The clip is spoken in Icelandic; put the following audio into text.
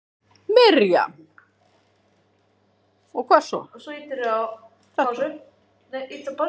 Miriam